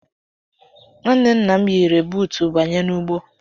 Nwanne nna m yi renbuutu banye n'ugbo.